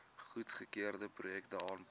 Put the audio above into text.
goedgekeurde projekte aanpak